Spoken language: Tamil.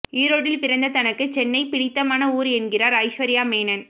ஈரோட்டில் பிறந்த தனக்கு சென்னை பிடித்தமான ஊர் என்கிறார் ஐஸ்வர்யா மேனன்